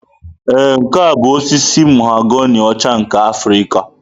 Ee, nke a bụ osisi mahoganị ọcha nke Afrịka.